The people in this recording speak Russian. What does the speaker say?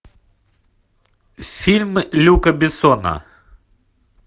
фильмы люка бессона